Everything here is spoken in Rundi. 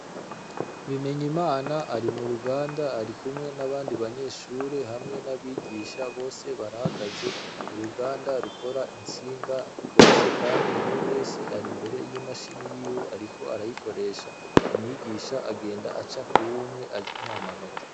Bimenyimana ari mu ruganda ari kumwe n'abandi banyeshure hamwe n'abigisha bose barahagaze ku ruganda rukora intsinga bose kandi umwe wese ari imbere y'imashini yiwe ariko arayikoresha. Umwigisha agenda aca kuri umwumwe amuha amanota.